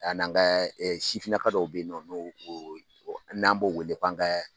A n'an ka sifinnaka dɔw bɛ yen nɔ n'an b'o wele k'an ka